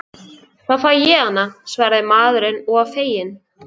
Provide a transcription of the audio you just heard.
Þá fæ ég hana, svaraði maðurinn og var feginn.